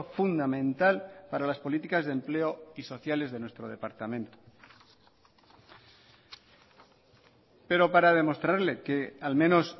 fundamental para las políticas de empleo y sociales de nuestro departamento pero para demostrarle que al menos